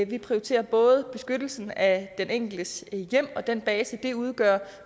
vi prioriterer både beskyttelsen af den enkeltes hjem og den base det udgør